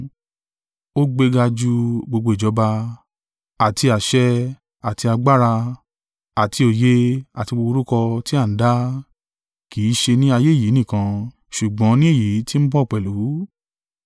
Ó gbéga ju gbogbo ìjọba, àti àṣẹ, àti agbára, àti òye àti gbogbo orúkọ tí a ń dá, kì í ṣe ni ayé yìí nìkan, ṣùgbọ́n ni èyí tí ń bọ̀ pẹ̀lú.